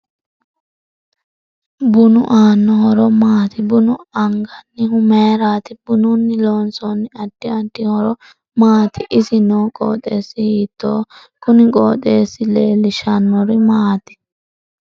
Bunu aano horo maati buna anganihu mayiirati bununni loonsani addi addi horo maati isi noo qoxeesi hiitooho kuni qooxeesi leelishanori maati